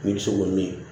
N'i bɛ se k'o min